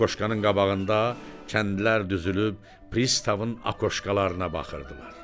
Akoşkanın qabağında kəndlər düzülüb pristavın akoşkalarına baxırdılar.